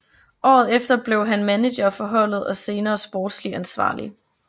Året efter blev han manager for holdet og senere sportslig ansvarlig